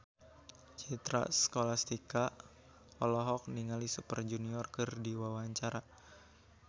Citra Scholastika olohok ningali Super Junior keur diwawancara